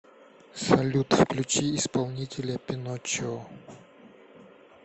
салют включи исполнителя пиночио